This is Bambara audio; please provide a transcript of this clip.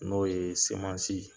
N'o ye semansi.